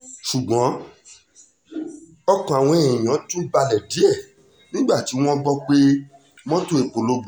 ṣùgbọ́n ọkàn àwọn èèyàn tún balẹ̀ díẹ̀ nígbà tí wọ́n gbọ́ pé mọ́tò epo ló gbiná